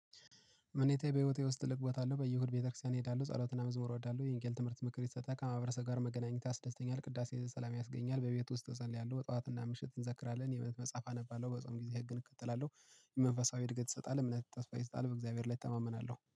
እምነቴ በህይወቴ ውስጥ ትልቅ ቦታ አለው። በየእሁድ ቤተክርስቲያን እሄዳለሁ ጸሎት እና መዝሙር እወዳለሁ። የቄስ ትምህርት ምክር ይሰጣል። ከማህበረሰብ ጋር መገናኘት ያስደስተኛል። ቅዳሴ ሰላም ያስገኛል። በቤት ውስጥ እጸልያለሁ ጠዋት እና ምሽት እንዘክራለን። የእምነት መጽሐፍ አነባለሁ። በጾም ጊዜ ህግን እከተላለሁ የመንፈሳዊ እድገት ይሰጣል። እምነት ተስፋ ይሰጣል በእግዚአብሔር ላይ እተማመናለሁ